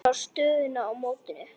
Sjá stöðuna í mótinu.